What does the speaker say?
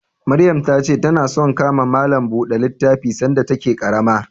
Maryam ta ce ta na son ka ma malam buɗe littafi sanda ta ke ƙarama